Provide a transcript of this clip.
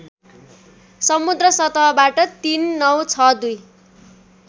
समुद्र सतहबाट ३९६२